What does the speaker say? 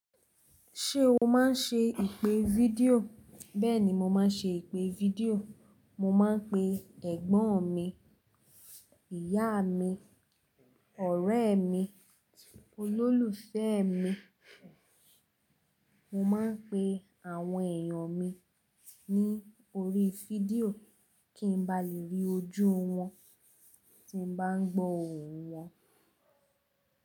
Ṣé o máa ń ṣe ìpè fídíò? Bẹ́ẹ̀ni, mo máa ń ṣe ìpè fídíò. Mo máa ń pe ẹ̀gbọ́n mi, ìyá mi, ọ̀rẹ́ mi, olólùfẹ́ mi. Mo máa ń pe àwọn èèyàn mi ní orí fídíò kí n ba lè rí ojú wọn tí mo bá ń gbọ́ ohùn wọn.